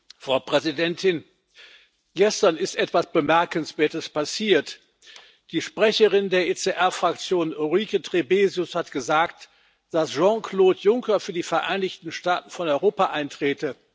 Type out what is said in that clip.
Frau Präsidentin! Gestern ist etwas Bemerkenswertes passiert Die Sprecherin der ECR Fraktion, Ulrike Trebesius, hat gesagt, dass Jean Claude Juncker für die Vereinigten Staaten von Europa eintrete.